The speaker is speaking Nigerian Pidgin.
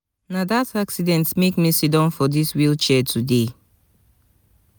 na dat make me sit down for dis wheelchair today